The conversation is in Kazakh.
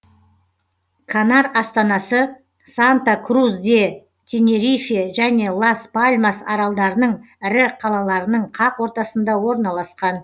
канар астанасы санта крус де тенерифе және лас пальмас аралдарының ірі қаларының қақ ортасында орналасқан